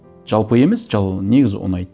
жалпы емес негізі ұнайды